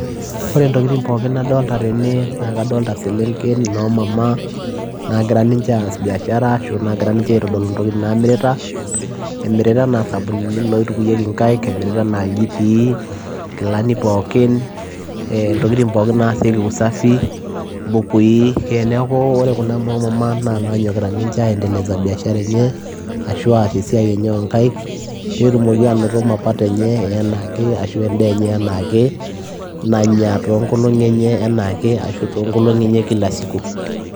Oree entokii nadolita tene naa adolitaa eselenken noo mama naagira ninjee as biashaara naagira ninje aaitodoluu intokitin naamirita imiritaa enaa isabunini loitukuyiekii inkaik iljitii nkilanik pookin ntokitin pookin naasieki usafii neeku oree kuna noo mama naa kegiraa ninjee aanyok aendeleza biashara enye aas esiai enye ooo inkaik peyiee etum ninje mapato enye enaike nanya enaa ake